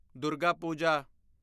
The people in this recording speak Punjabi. ਦੁਰਗਾ ਪੂਜਾ